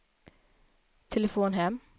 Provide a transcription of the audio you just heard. telefon hem